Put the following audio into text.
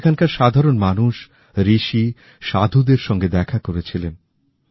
সেখানকার সাধারণ মানুষ ঋষি সাধুদের সঙ্গে দেখা করেছিলেন